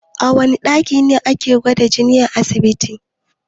A wana ɗaki ne ake gwada jini a asibiti?